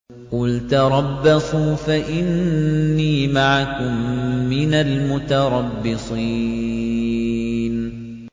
قُلْ تَرَبَّصُوا فَإِنِّي مَعَكُم مِّنَ الْمُتَرَبِّصِينَ